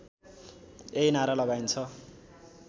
यही नारा लगाइन्छ